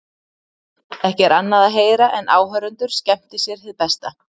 Ekki er annað að heyra en áhorfendur skemmti sér hið besta.